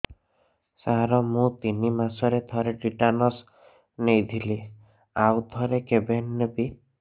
ସାର ମୁଁ ତିନି ମାସରେ ଥରେ ଟିଟାନସ ନେଇଥିଲି ଆଉ ଥରେ କେବେ ନେବି